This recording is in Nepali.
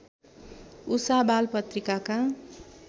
उषा बाल पत्रिकाका